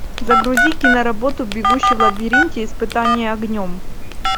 загрузи киноработу бегущий в лабиринте испытание огнем